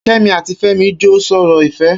Kemi àtí Femi jọ n sọrọ ifẹ̀